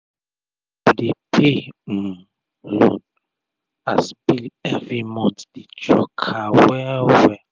to dey pay um loan and bill everi month dey choke her wel wel